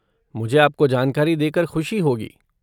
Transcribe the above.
मुझे आपको जानकारी देकर ख़ुशी होगी।